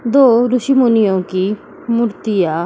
दो ऋषि मुनिओ की मूर्तियां --